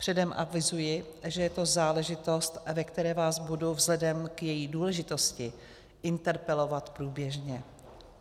Předem avizuji, že je to záležitost, ve které vás budu vzhledem k její důležitosti interpelovat průběžně.